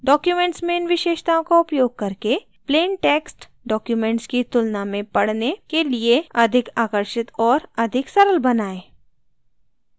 documents में इन विशेषताओं का उपयोग करके plain text documents की तुलना में पढ़ने के लिए अधिक आकर्षित और अधिक सरल बनाएँ